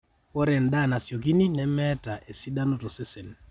ore endaa nasiokini nemeeta esidano tosesen